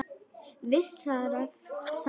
Vissara samt að hringja áður.